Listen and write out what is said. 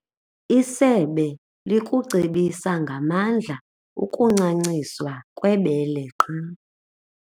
Isebe likucebisa ngamandla ukuncanciswa kwebele qha.